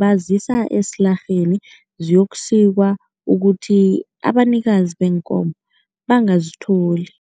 bazisa esilarheni ziyokusikwa ukuthi abanikazi beenkomo bangazitholi.